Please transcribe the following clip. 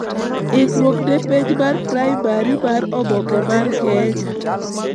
ikruok ne penj mar primary mar oboke mar Kenya